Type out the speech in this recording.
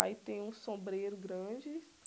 Aí tem um sombreiro grande.